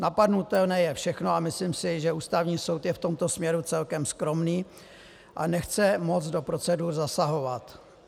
Napadnutelné je všechno a myslím si, že Ústavní soud je v tomto směru celkem skromný a nechce moc do procedur zasahovat.